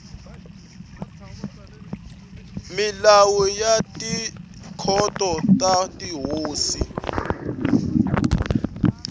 milawu ya tikhoto ta tihosi